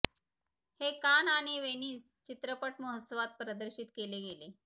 हे कान आणि वेनिस चित्रपट महोत्सवात प्रदर्शित केले गेले